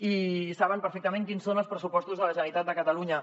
i saben perfectament quins són els pressupostos de la generalitat de catalunya